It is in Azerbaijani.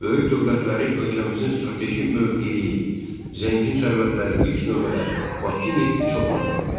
Böyük dövlətləri ölkəmizin strateji mövqeyi, zəngin sərvətləri ilk növbədə Bakı nefti çox maraqlandırırdı.